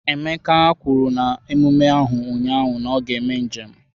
Emeka kwuru na emume ahụ ụnyaahụ na ya ga-eme njem.